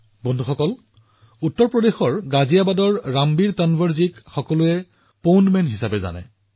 বন্ধুসকল উত্তৰ প্ৰদেশৰ গাজিয়াবাদৰ ৰামবীৰ তানৱাৰজীক পুখুৰী পুৰুষ বুলি জনা যায়